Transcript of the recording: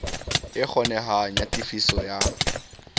e kgonehang ya tefiso ya